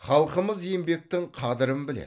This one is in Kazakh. халқымыз еңбектің қадірін біледі